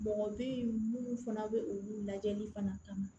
Mɔgɔ bɛ yen minnu fana bɛ olu lajɛli fana kama